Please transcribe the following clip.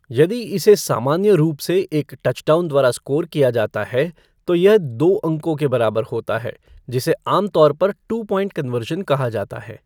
यदि इसे सामान्य रूप से एक टचडाउन द्वारा स्कोर किया जाता है तो यह दो अंकों के बराबर होता है जिसे आम तौर पर टू पॉइंट कन्वर्शन कहा जाता है।